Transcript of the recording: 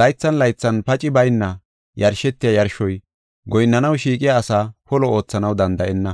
laythan laythan pacey bayna yarshetiya yarshoy goyinnanaw shiiqiya asaa polo oothanaw danda7enna.